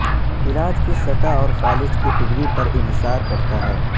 علاج کی سطح اور فالج کی ڈگری پر انحصار کرتا ہے